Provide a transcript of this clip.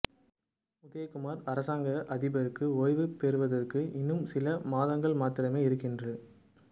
உதயகுமார் அரசாங்க அதிபருக்கு ஓய்வு பெறுவதற்கு இன்னும் சில மாதங்கள் மாத்திரமே இருக்கின்ற